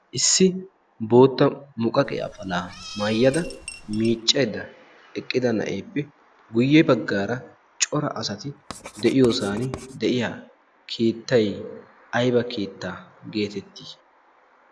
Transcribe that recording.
issi bootta muqaqe afalaa maayyada miiccaidda eqqida na7eeppe guyye baggaara cora asati de7iyoosan de7iya keettai aiba keetta geetettii?